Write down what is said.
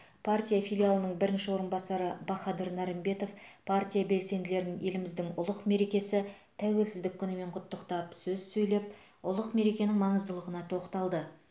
партия филиалының бірінші орынбасары бахадыр нарымбетов партия белсенділерін еліміздің ұлық мерекесі тәуелсіздік күнімен құттықтап сөз сөйлеп ұлық мерекенің маңыздылығына тоқталды